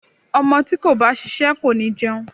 Ọmọ tí kò bá ṣiṣẹ́ kò ní jẹun.